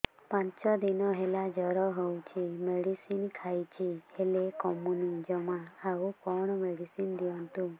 ପାଞ୍ଚ ଦିନ ହେଲା ଜର ହଉଛି ମେଡିସିନ ଖାଇଛି ହେଲେ କମୁନି ଜମା ଆଉ କଣ ମେଡ଼ିସିନ ଦିଅନ୍ତୁ